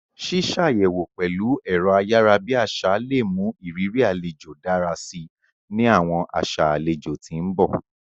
Sísàyẹwo pẹ̀lu ẹ̀ro ayara bi àsá le mu ìrírí alejo dára si ni àwọn aṣa alejò ti n bọ.